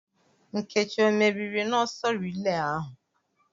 Nkechi ọ meriri n'ọsọ rilee ahu?